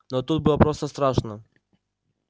но тут было просто страшно